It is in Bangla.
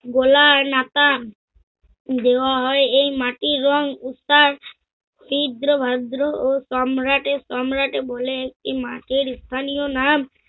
দেওয়া হয় এই মাটির রং উদা তীব্র ভাদ্র ও সম্রাটে সম্রাটে বলে একটি মাসের স্থানীয় নাম